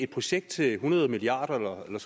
projekt til hundrede milliard kroner eller